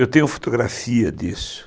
Eu tenho fotografia disso.